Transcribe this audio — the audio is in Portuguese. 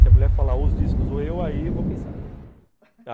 Se a mulher falar os discos ou eu, aí eu vou pensar